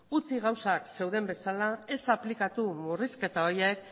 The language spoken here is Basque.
utzi gauzak zeuden bezala ez aplikatu murrizketa horiek